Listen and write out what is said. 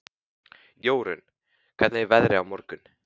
Jórunn, hvernig er veðrið á morgun?